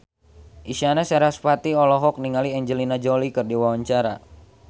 Isyana Sarasvati olohok ningali Angelina Jolie keur diwawancara